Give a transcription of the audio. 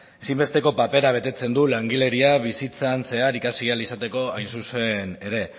ezinbesteko papera betetzen du langileria bizitzan zehar ikasi ahal izateko hain zuzen ere